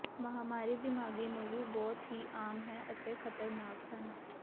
ਮਹਾਮਾਰੀ ਦਿਮਾਗੀ ਨੂੰ ਵੀ ਬਹੁਤ ਹੀ ਆਮ ਹੈ ਅਤੇ ਖ਼ਤਰਨਾਕ ਹਨ